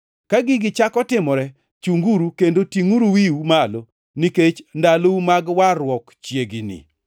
Ka gigi chako timore, chunguru kendo tingʼuru wiwu malo, nikech ndalou mag warruok chiegni.”